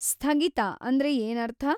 ಸ್ಥಗಿತ ಅಂದ್ರೆ ಏನರ್ಥ?